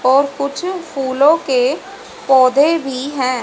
और कुछ फूलो के पौधे भी है।